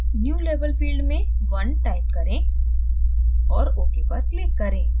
new label field में 1 type करें और ok पर click करें